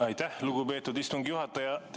Aitäh, lugupeetud istungi juhataja!